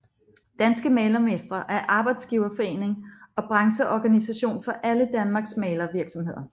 Danske Malermestre er arbejdsgiverforening og brancheorganisation for alle Danmarks malervirksomheder